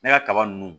Ne ka kaba ninnu